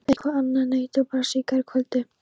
Eitthvað annað en eiturbrasið í gærkvöldi.